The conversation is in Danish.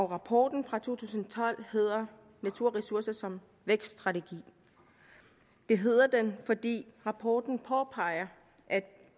rapporten fra to tusind og tolv hedder naturressourcer som vækststrategi det hedder den fordi rapporten påpeger at